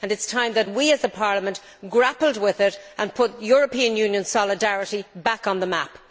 It is time that we, as a Parliament, grappled with it and put European Union solidarity back on the map.